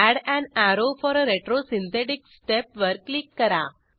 add an arrow for a retrosynthetic step वर click करा